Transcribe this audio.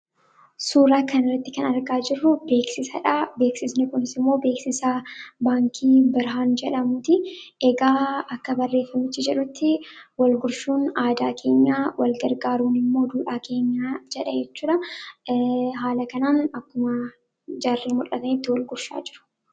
Suuraa kanarratti kan argaa jirru beeksisaadha, beeksisni kunis immoo beeksisa baankii birhaan jedhamuuti egaa akka barreeffamichi jedhutti walgurshuun aadaa keenyaadha, walgargaaruun immoo duudhaa keenya jechuudha haala kanaan akkuma jaarreen mul'atanitti walgurshaa jiru.